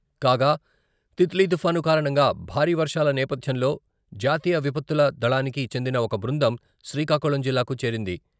కాగా, తిత్లీ తుఫాను కారణంగా భారీ వర్షాల నేపథ్యంలో జాతీయ విపత్తుల దళానికి చెందిన ఒక బృందం శ్రీకాకుళం జిల్లాకు చేరింది